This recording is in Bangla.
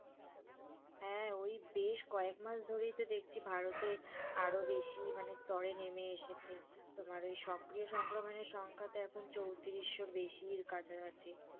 হ্যাঁ, ওই বেশ কয়েক মাস ধরেই দেখছি তো ভারতে আরো বেশি মানে স্তরে নেমে এসেছে তোমার ওই সক্রিয় সংক্রমণের সংখ্যা তো এখন চৌত্রিশোর বেশির কাছাকাছি,